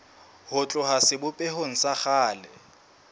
ho tloha sebopehong sa kgale